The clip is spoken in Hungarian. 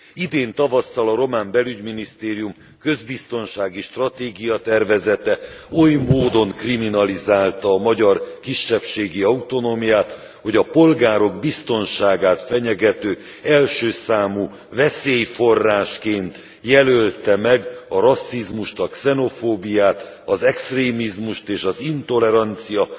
Idén tavasszal a román belügyminisztérium közbiztonságistratégia tervezete oly módon kriminalizálta a magyar kisebbségi autonómiát, hogy a polgárok biztonságát fenyegető első számú veszélyforrásként jelölte meg a rasszizmust, a xenofóbiát, az extrémizmust és az intolerancia